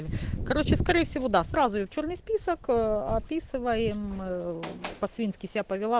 короче скорее всего да сразу в чёрный список описываем по-свински себя повела